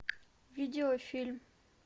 видеофильм